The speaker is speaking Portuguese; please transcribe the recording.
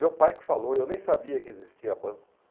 Meu pai que falou, eu nem sabia que existia banco.